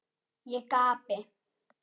Ég gapi.